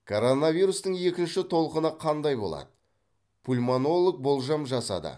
коронавирустың екінші толқыны қандай болады пульмонолог болжам жасады